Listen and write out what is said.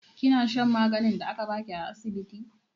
Kina shan maganin da aka ba ki a asibiti?